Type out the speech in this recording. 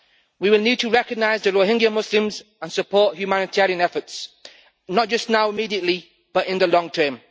We will need to recognise the Rohingya Muslims and support humanitarian efforts not just now, immediately, but in the long term.